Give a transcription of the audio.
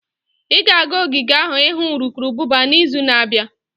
Ị ga-aga ogige ahụ ịhụ urukurubụba n'izu na-abịa?